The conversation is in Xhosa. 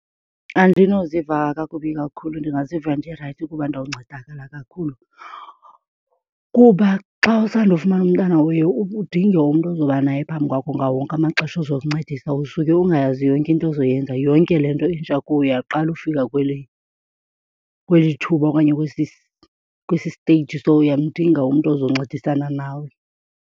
Andinoziva kakubi kakhulu ndingaziva ndirayithi kuba ndawuncedakala kakhulu, kuba xa usandofumana umntana uye udinge umntu ozobanaye phambi kwakho ngawo wonke amaxesha ozokuncedisa. Usuke ungayazi yonke into ozoyenza, yonke le nto intsha kuwe uyaqala ufika kule, kweli thuba okanye kwesi stage, so uyamdinga umntu ozoncedisana nawe.